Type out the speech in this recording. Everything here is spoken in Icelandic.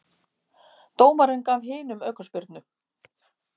Dómarinn gaf hinum aukaspyrnu.